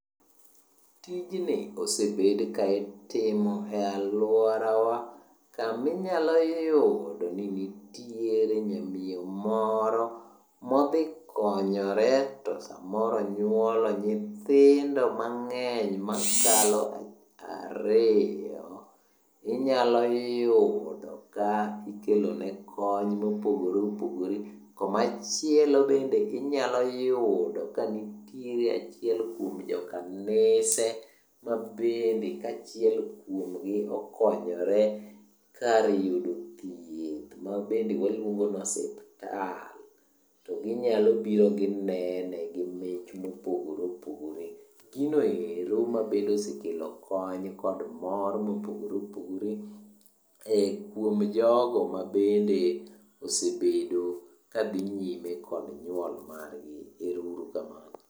Tijni osebed ka itimo e alworawa kaminyalo yudo ni nitiere nyamiyo moro modhikonyore to samoro onyuolo nyithindo mang'eny mokalo ariyo. Inyalo yudo ka ikelone kony mopogore opogore . Komachielo bende inyalo yudo ka nitie achiel kuom jokanise ma bende ka achiel kuomgi okonyore kar yudo thieth ma bende waluongo ni osiptal. To ginyalo biro ginene gi mich mopogore opogore. Gino ero ma bende osekelo kony kod mor mopogore opogore e kuom jogo ma bende osebedo ka dhi nyime kod nyuol margi. Ero uru kamano.